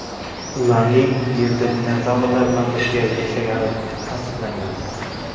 Ularning Yerda dinozavrlar bilan birga yashagani tasdiqlangan.